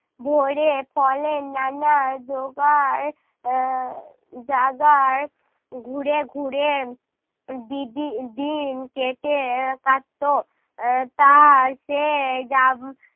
ভরে ফলের নানা জোগাড় আহ জাগার ঘুরে ঘুরে দি~ দি~ দিন কেটে কাটতো। আহ তার সেই যাব~